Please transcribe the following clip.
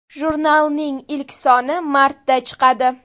Jurnalning ilk soni martda chiqadi.